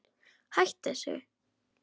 Hættu þessu.